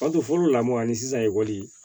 fɔlɔ lamɔn ani sisan ekɔli